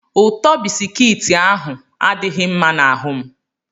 ụtọ bisikiiti ahụ adighi mma na ahum